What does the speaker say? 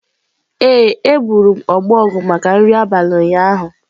Ee, egburu m ọbọgwụ maka nri abalị ụnyaahụ